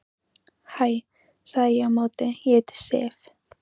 Hæ, sagði ég á móti, ég heiti Sif.